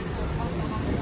Maşın çox olur.